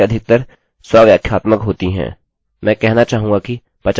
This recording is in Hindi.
उनमें से अधिकतर स्वव्याख्यात्मक होती हैं